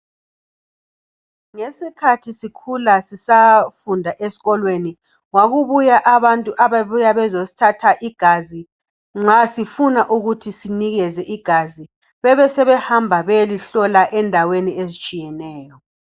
Ngeskhathi sisafunda ezikolweni kwakulabantu ababebuya besithatha igazi nxa sifuna ukuthi benikeze igazi besebehamba ukuyalihlola endaweni ezitshiyeneyo.